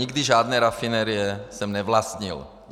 Nikdy žádné rafinérie jsem nevlastnil.